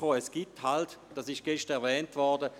Die Regierung kam zu folgendem Schluss: